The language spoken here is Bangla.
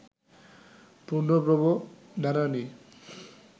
পূর্ণব্রহ্ম নারায়ণই